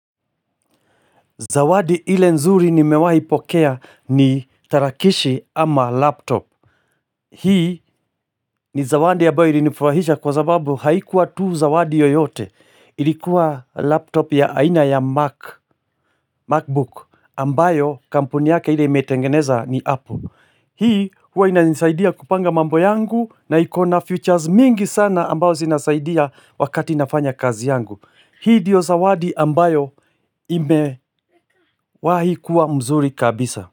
Zawadi ile nzuri nimewaipokea ni tarakilishi ama laptop. Hii ni zawadi ya ambayoo ilinifurahisha kwa zababu haikuwa tu zawadi yoyote. Ilikuwa laptop ya aina ya Macbook ambayo kampuni yake ile imetengeneza ni Apple. Hii huwa inanisaidia kupanga mambo yangu na ikona features mingi sana ambayo zinasaidia wakati nafanya kazi yangu. Hii ndiyo zawadi ambayo imewahi kuwa mzuri kabisa.